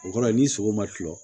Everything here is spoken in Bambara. O kɔrɔ ni sogo ma tila